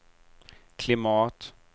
klimat